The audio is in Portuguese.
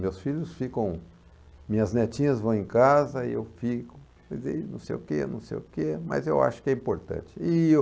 Meus filhos ficam... Minhas netinhas vão em casa e eu fico... Quer dizer, enão sei o quê, não sei o quê, mas eu acho que é importante. E eu